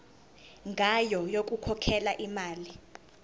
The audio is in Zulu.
ngayo yokukhokhela imali